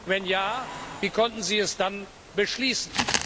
Wenn ja, wie konnten Sie es dann beschließen?